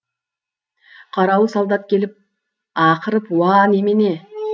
қарауыл солдат келіп ақырып уа немене